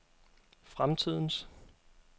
fremtidens